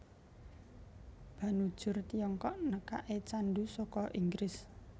Banujur Tiongkok nekake candu saka Inggris